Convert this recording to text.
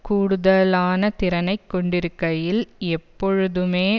கூடுதலான திறனை கொண்டிருக்கையில் எப்பொழுதுமே